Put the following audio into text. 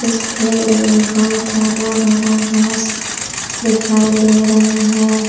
इस फील्ड में बहोत हरा भरा घास दिखाई दे रहा है।